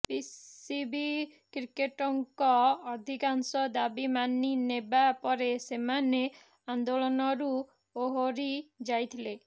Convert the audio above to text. BCB କ୍ରିକେଟର୍ଙ୍କ ଅଧିକାଂଶ ଦାବି ମାନି ନେବା ପରେ ସେମାନେ ଆନ୍ଦୋଳନରୁ ଓହରି ଯାଇଥିଲେ